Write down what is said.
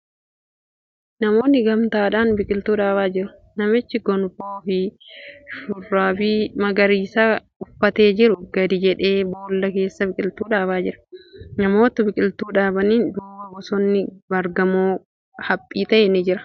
Namoonni gamtaadhaan biqiltuu dhaabaa jiru. Namichi gonfoo fi shurraabii magariisa uffatee jiru gadi jedhee boolla keessa biqiltuu dhaabaa jira. Namoota biqiltuu dhaabaniin duuba bosonni baargamoo haphii ta'e ni jira .